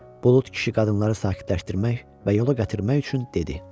Bulud kişi qadınları sakitləşdirmək və yola gətirmək üçün dedi: